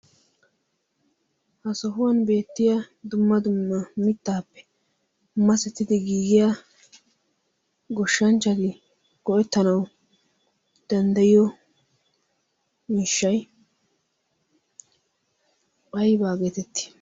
Ha sohuwan beettiya dumma dumma mittaappe masettidi giigiya goshshanchchati go'ettanawu danddayiyo miishshay aybaa geetettii?